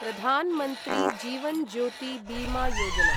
प्रधान् मन्त्री जीवन् ज्योति बीमा योजना